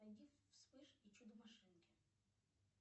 найди вспыш и чудо машинки